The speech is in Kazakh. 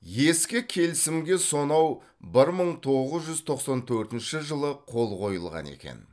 ескі келісімге сонау бір мың тоғыз жүз тоқсан төртінші жылы қол қойылған екен